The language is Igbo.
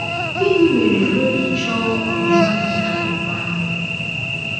Gịnị mere o ji chọọ ọmụma dị n’akwụkwọ ahụ?